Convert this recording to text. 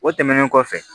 O tɛmɛnen kɔfɛ